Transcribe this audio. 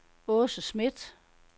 Aase Schmidt